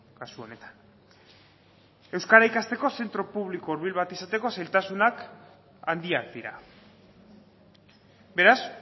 kasu honetan euskara ikasteko zentro publiko hurbil bat izateko zailtasunak handiak dira beraz